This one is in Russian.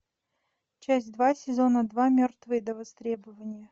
часть два сезона два мертвые до востребования